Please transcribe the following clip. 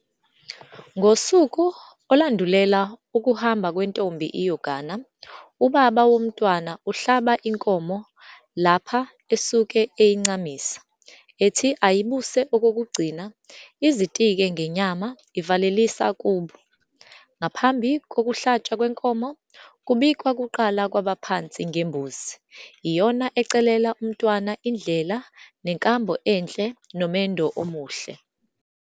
Ngosuku olandulela ukuhamba kwentombi iyogana, ubaba womntwana uhlaba inkomo lapha esuke eyincamisa, ethi ayibuse okokugcina, izitike ngenyama ivalelisa kubo. Ngaphambi kokuhlatshwa kwenkomo, kubikwa kuqala kwabaphansi ngembuzi, iyona ecelela umntwana indlela nenkambo enhle nomendo omuhle.